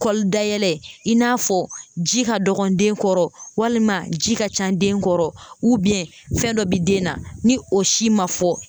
Kɔli dayɛlɛ i n'a fɔ ji ka dɔgɔ den kɔrɔ walima ji ka ca den kɔrɔ fɛn dɔ bi den na ni o si ma fɔ